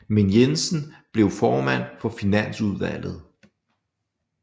Men Jensen blev formand for finansudvalget